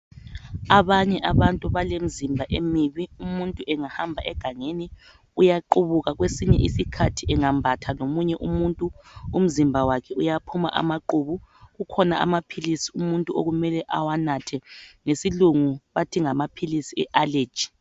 Abanye abantu balemizimba emini umuntu engahamba egangeni uyaqubuka kwesinye isikhathi engambatha lomunye umuntu umzimba wakhe uyaphuma amaqubu . Kukhona amaphilsi umuntu okumele awanathe ngesilungi bathi yi allergy.